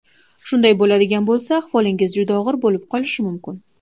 Shunday bo‘ladigan bo‘lsa, ahvolingiz juda og‘ir bo‘lib qolishi mumkin.